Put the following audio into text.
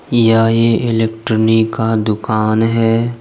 यह ए ए इलेट्रॉनी का दुकान है।